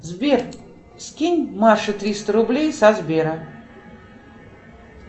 сбер скинь маше триста рублей со сбера